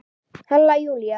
Halla Júlía.